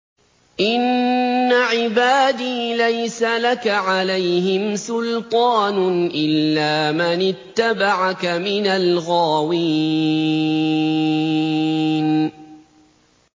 إِنَّ عِبَادِي لَيْسَ لَكَ عَلَيْهِمْ سُلْطَانٌ إِلَّا مَنِ اتَّبَعَكَ مِنَ الْغَاوِينَ